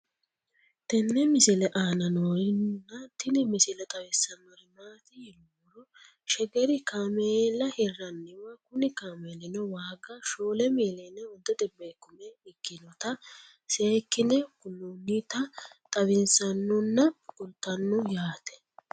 tenne misile aana noorina tini misile xawissannori maati yinummoro shegeri kaammeella hiranniwa kunni kaammelinno waaga4,500,000 ikkinnotta seekkinne kuloonnitta xawissannonna kulittanno yaatte